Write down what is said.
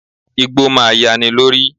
Igbó máa yani lórí.